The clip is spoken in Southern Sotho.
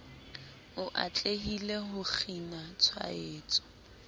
o atlehile ho kgina tshwaetso